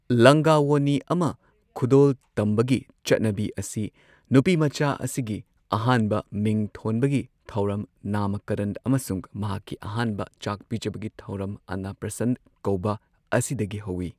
ꯂꯪꯒꯥ ꯋꯣꯅꯤ ꯑꯃ ꯈꯨꯗꯣꯜ ꯇꯝꯕꯒꯤ ꯆꯠꯅꯕꯤ ꯑꯁꯤ ꯅꯨꯄꯤꯃꯆꯥ ꯑꯁꯤꯒꯤ ꯑꯍꯥꯟꯕ ꯃꯤꯡ ꯊꯣꯟꯕꯒꯤ ꯊꯧꯔꯝ ꯅꯥꯃꯀꯔꯟ ꯑꯃꯁꯨꯡ ꯃꯍꯥꯛꯀꯤ ꯑꯍꯥꯟꯕ ꯆꯥꯛ ꯄꯤꯖꯕꯒꯤ ꯊꯧꯔꯝ ꯑꯟꯅꯄ꯭ꯔꯁꯟ ꯀꯧꯕ ꯑꯁꯤꯗꯒꯤ ꯍꯧꯋꯤ꯫